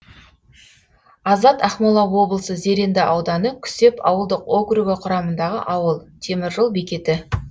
азат ақмола облысы зеренді ауданы күсеп ауылдық округі құрамындағы ауыл темір жол бекеті